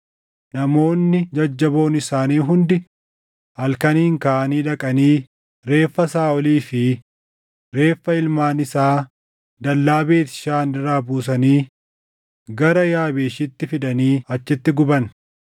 namoonni jajjaboon isaanii hundi halkaniin kaʼanii dhaqanii reeffa Saaʼolii fi reeffa ilmaan isaa dallaa Beet Shaan irraa buusanii gara Yaabeeshitti fidanii achitti guban.